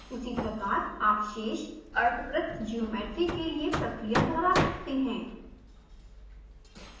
उसी प्रकार आप शेष अर्धवृत्त ज्योमेट्री के लिए प्रक्रिया दोहरा सकते हैं